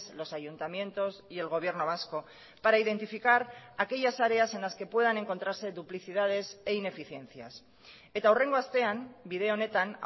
los ayuntamientos y el gobierno vasco para identificar aquellas áreas en las que puedan encontrarse duplicidades e ineficiencias eta hurrengo astean bide honetan